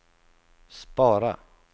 spara